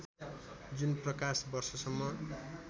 जुन प्रकाश वर्षसम्म